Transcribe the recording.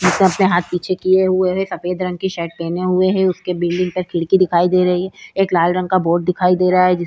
सबसे हाथ पीछे किये हुए है। सफ़ेद रंग की शर्ट पहने हुए है। उसके बिल्डिंग का खिड़की दिखाई दे रही है। एक लाल रंग का बोर्ड दिखाई दे रहा है। जिस --